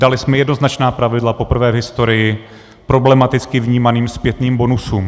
Dali jsme jednoznačná pravidla poprvé v historii problematicky vnímaným zpětným bonusům.